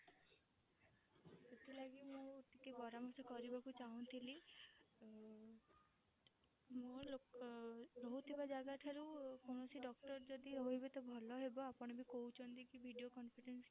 ସେଥିଲାଗି ମୁଁ ଟିକେ ପରାମର୍ଶ କରିବାକୁ ଚାହୁଁଥିଲି ଉଁ ମୁଁ ଲୋକ ରହୁଥିବା ଜାଗା ଠାରୁ କୌଣସି doctor ଯଦି ରହିବେ ତ ଭଲ ହେବ ଆପଣ ବି କହୁଛନ୍ତି କି video conference